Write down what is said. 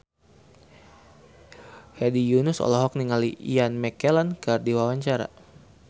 Hedi Yunus olohok ningali Ian McKellen keur diwawancara